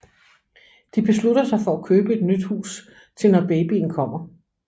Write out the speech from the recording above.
De beslutter sig for at købe et nyt hus til når babyen kommer